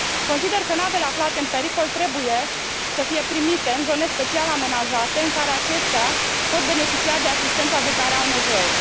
Consider că navele aflate în pericol trebuie să fie primite în zone special amenajate, în care acestea pot beneficia de asistența de care au nevoie.